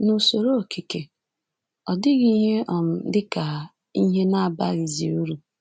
N’usoro okike… ọ dịghị ihe um dị ka ihe na-abaghịzi uru